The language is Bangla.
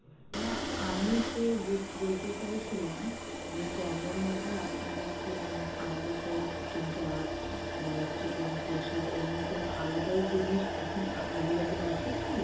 না আমি সে বুঝতে ~বলতে চাইছিলাম যে combo মধ্যে আপনাদের কি মানে কি আলাদা করে চিকেন চাপ বা চিকেন কোষা এমনি কোনো আলাদা ও জিনিস এখন কি available আছে কি?